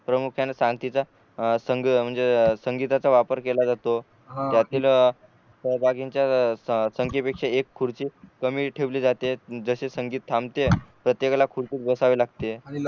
प्रमुख्याने सांगतीचा म्हणजे संगीताचा वापर केला जातो त्यातील त्या जागींच्या संखेपैकी एक खुर्ची कमी ठेवली जाते जसे संगीत थांबते प्रत्येकाला खुर्चीत बसावे लागते